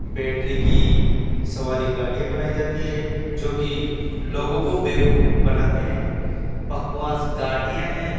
Battery की सवारी गाड़ियां बनाई जाती है जो कि लोगों को बेवकूफ बनाते हैं बकवास गाड़ियां हैं।